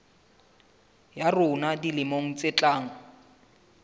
ya rona dilemong tse tlang